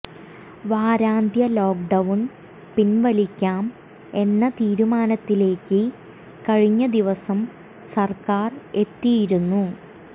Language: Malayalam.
വാരാന്ത്യ ലോക്ഡൌൺ പിൻവലിക്കാം എന്ന തീരുമാനത്തിലേക്ക് കഴിഞ്ഞ ദിവസം സർക്കാർ എത്തിയിരുന്നു